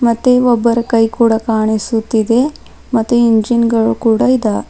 ಮತ್ತೆ ಒಬ್ಬರ ಕೈ ಕೂಡ ಕಾಣಿಸುತ್ತಿದೆ ಮತ್ತು ಇಂಜಿನ್ ಗಳು ಕೂಡ ಇದಾವೆ.